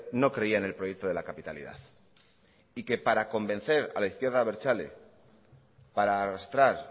no creía en el proyecto de la capitalidad y que para convencer a la izquierda abertzale para arrastrar